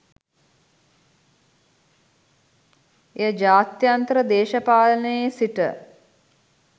එය ජාත්‍යන්තර දේශපාලනයේ සිට